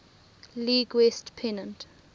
league west pennant